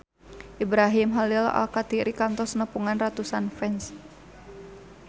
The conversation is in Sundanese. Ibrahim Khalil Alkatiri kantos nepungan ratusan fans